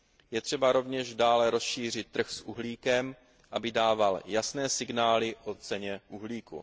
Je třeba rovněž dále rozšířit trh s uhlíkem, aby dával jasné signály o ceně uhlíku.